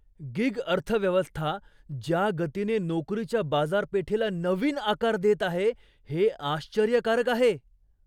Gig अर्थव्यवस्था ज्या गतीने नोकरीच्या बाजारपेठेला नवीन आकार देत आहे हे आश्चर्यकारक आहे.